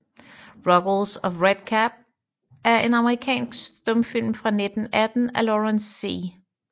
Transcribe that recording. Ruggles of Red Gap er en amerikansk stumfilm fra 1918 af Lawrence C